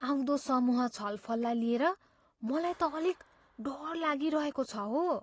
आउँदो समूह छलफललाई लिएर मलाई त अलिक डर लागिरहेको छ हो।